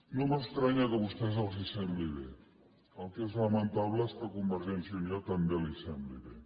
no m’estranya que a vostès els sembli bé el que és lamentable és que a convergència i unió també li sembli bé